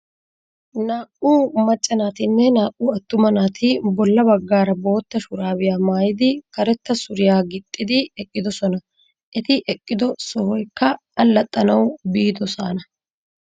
Naa"u macca naatinne naa"u attuma naati bolla baggaara bootta shuraabiya maayidi karetta suriya gixxidi eqqidosona. Eti eqqido sohoykka allaxxanawu biidosaana.